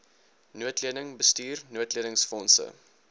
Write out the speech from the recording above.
noodleniging bestuur noodlenigingsfondse